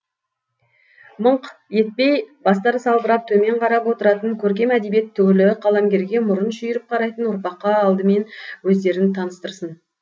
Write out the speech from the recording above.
мыңқ етпей бастары салбырап төмен қарап отыратын көркем әдебиет түгілі қаламгерге мұрын шүйіріп қарайтын ұрпаққа алдымен өздерін таныстырсын